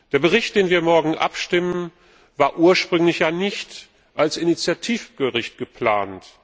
Der Bericht, über den wir morgen abstimmen, war ursprünglich nicht als Initiativbericht geplant.